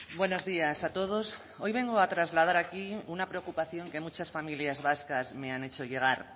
buenos días a todos hoy vengo a trasladar aquí una preocupación que muchas familias vascas me han hecho llegar